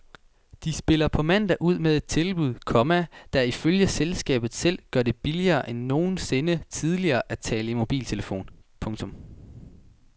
De spiller på mandag ud med et tilbud, komma der ifølge selskabet selv gør det billigere end nogensinde tidligere at tale i mobiltelefon. punktum